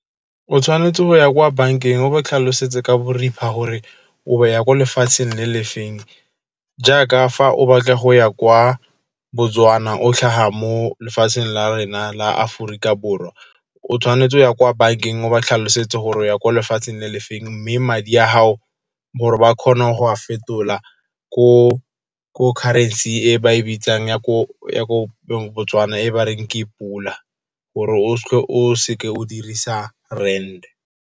O tshwanetse go ya kwa bankeng o ba tlhalosetse ka boripha gore o ya kwa lefatsheng le le feng. Jaaka fa o batla go ya kwa Botswana, o tlhaga mo lefatsheng la rena la Aforika Borwa. O tshwanetse go ya kwa bankeng o ba tlhalosetse gore o ya kwa lefatsheng le le feng, mme madi a gago gore ba kgone go a fetola ko currency-eng e ba e bitsang ya ko Botswana e ba reng ke e Pula, gore o seke o dirisa Rand.